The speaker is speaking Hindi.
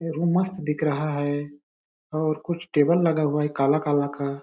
ये रूम मस्त दिख रहा है और कुछ टेबल लगा हुआ है काला-काला का--